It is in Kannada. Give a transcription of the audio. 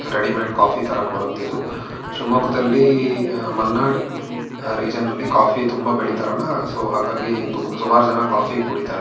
ರೆಡಿಮೇಡ್ ಕಾಫಿ ತರ ಕೊಡುತ್ತೆ ಇದು ಶಿವಮೊಗ್ಗದಲ್ಲಿ ಮಲ್ನಾಡು ರೀಜನ ಲಿ ಕಾಫಿ ತುಂಬಾ ಬೆಳೀತಾರಲ್ಲ ಸೋ ಹಾಗಾಗಿ ಸುಮಾರು ಜನ ಕಾಫಿ ಕುಡಿತಾರೆ.